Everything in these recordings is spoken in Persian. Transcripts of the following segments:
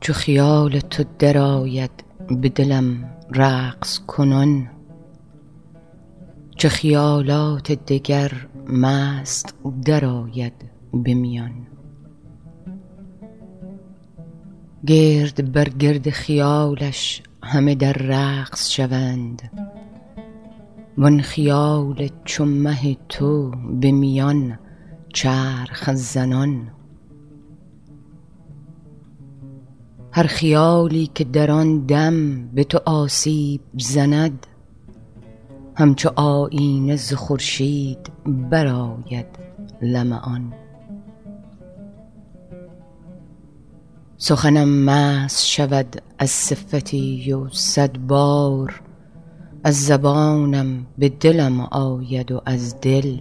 چون خیال تو درآید به دلم رقص کنان چه خیالات دگر مست درآید به میان گرد بر گرد خیالش همه در رقص شوند وان خیال چو مه تو به میان چرخ زنان هر خیالی که در آن دم به تو آسیب زند همچو آیینه ز خورشید برآید لمعان سخنم مست شود از صفتی و صد بار از زبانم به دلم آید و از دل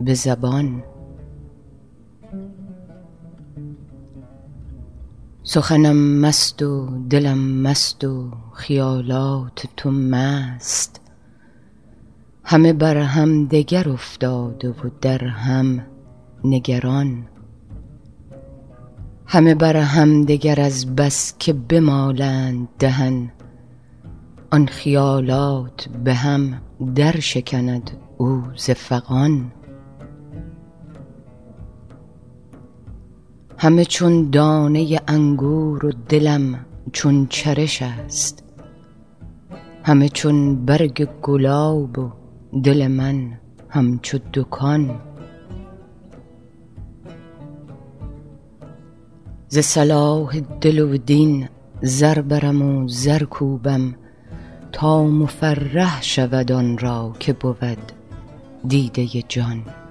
به زبان سخنم مست و دلم مست و خیالات تو مست همه بر همدگر افتاده و در هم نگران همه بر همدگر از بس که بمالند دهن آن خیالات به هم درشکند او ز فغان همه چون دانه انگور و دلم چون چرش است همه چون برگ گلاب و دل من همچو دکان ز صلاح دل و دین زر برم و زر کوبم تا مفرح شود آن را که بود دیده جان